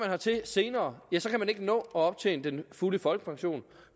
hertil senere ja så kan man ikke nå at optjene den fulde folkepension